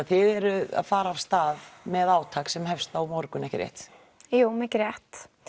þið eruð að fara af stað með átak sem hefst á morgun ekki rétt jú mikið rétt